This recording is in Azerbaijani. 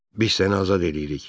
Biz səni azad eləyirik.